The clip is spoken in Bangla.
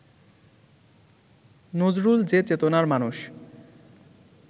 নজরুল যে চেতনার মানুষ